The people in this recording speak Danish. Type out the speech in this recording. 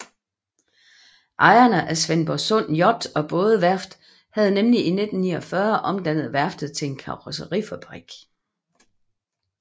Ejerne af Svendborgsund Yacht og Bådeværft havde nemlig i 1949 omdannet værftet til en karrosserifabrik